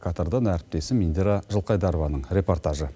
катардан әріптесім индира жылқайдарованың репортажы